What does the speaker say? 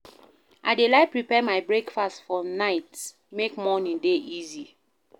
I dey like prepare my breakfast for night make morning dey easy.